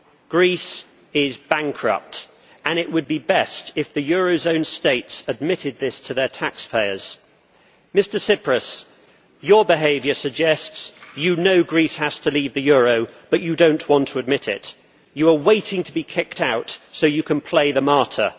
Greece is bankrupt, and it would be best if the eurozone states admitted this to their taxpayers. Mr Tsipras, your behaviour suggests you know Greece has to leave the euro, but you do not want to admit it. You are waiting to be kicked out so you can play the martyr.